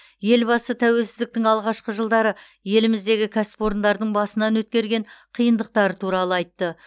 елбасы тәуелсіздіктің алғашқы жылдары еліміздегі кәсіпорындардың басынан өткерген қиындықтары туралы айтты